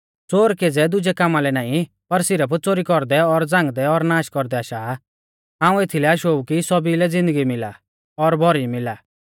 च़ोर केज़ै दुजै कामा लै नाईं पर सिरफ च़ोरी कौरदै और झ़ांगदै और नाश कौरदै आशा आ हाऊं एथलै आशौ ऊ कि सौभी लै ज़िन्दगी मिला और भौरी मिला